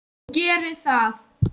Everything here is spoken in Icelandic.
Og geri það.